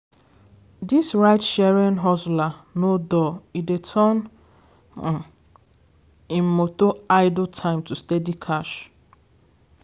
dis ride-sharing hustler no dull e dey turn um im motor idle time to steady cash.